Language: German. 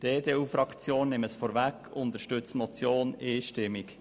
Die EDU-Fraktion unterstützt die Motion einstimmig.